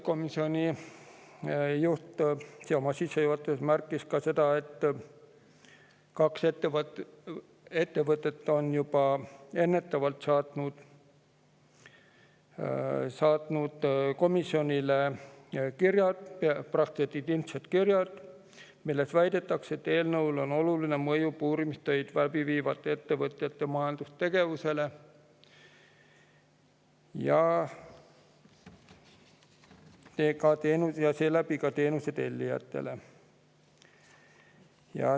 Komisjoni juht märkis oma sissejuhatuses ka seda, et kaks ettevõtet on juba ennetavalt saatnud komisjonile kirja – need on peaaegu identsed kirjad –, milles väidetakse, et eelnõul on oluline mõju puurimistöid läbi viivate ettevõtjate majandustegevusele ja seeläbi ka teenuse tellijatele.